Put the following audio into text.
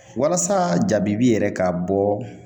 Walasa jabibi yɛrɛ ka bɔ